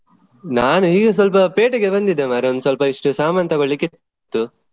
ನಾನ್ ಹೀಗೆ ಸ್ವಲ್ಪ ಪೇಟೆಗೆ ಬಂದಿದ್ದೆ ಮಾರ್ರೆ ಒಂದ್ಸ್ವಲ್ಪ ಇಷ್ಟು ಸಾಮಾನ್ ತಗೋಳ್ಳಿಕ್ಕೆ ಇತ್ತು.